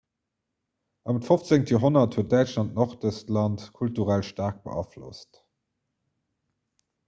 ëm d'15. joerhonnert huet däitschland nordestland kulturell staark beaflosst